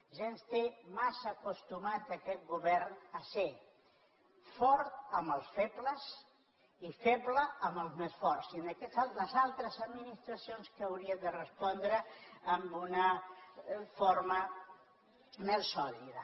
ja ens té massa acostumats aquest govern a ser fort amb els febles i feble amb els més forts sinó que les altres administracions haurien de respondre amb una forma més sòlida